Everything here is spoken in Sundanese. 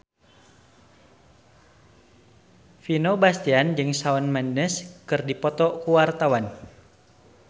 Vino Bastian jeung Shawn Mendes keur dipoto ku wartawan